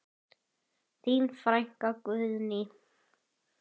Þín frænka Guðný.